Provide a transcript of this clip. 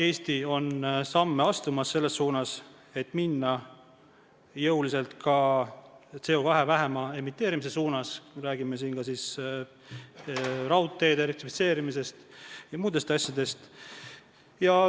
Eesti on astumas samme selles suunas, et minna jõuliselt CO2 vähema emiteerimise suunas, räägime siin ka raudteede elektrifitseerimisest ja muudest asjadest.